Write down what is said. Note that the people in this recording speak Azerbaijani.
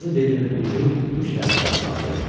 Qırmızı dilinin ucu üst tərəfə qatlandı.